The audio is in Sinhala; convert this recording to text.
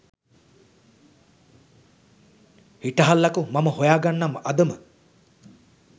හිටහල්ලකෝ මම හොයාගන්නම් අදම